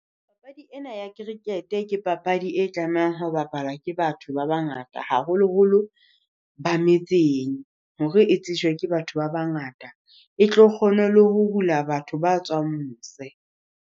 Papadi ena ya cricket-e ke papadi e tlamehang ho bapala ke batho ba bangata, haholoholo ba metseng hore e tsejwa ke batho ba bangata. E tlo kgona le ho hula batho ba tswang mose.